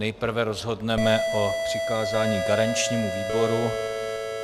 Nejprve rozhodneme o přikázání garančnímu výboru.